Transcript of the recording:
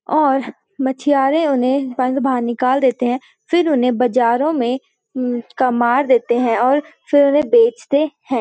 और मछियारे उन्हें बंध बाहर निकाल देते हैं फिर उन्हें बाजारों में ऊँ का मार देते हैं और फिर उन्हें बेचते हैं।